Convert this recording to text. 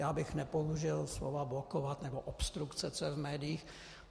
Já bych nepoužil slova blokovat nebo obstrukce, co je v médiích.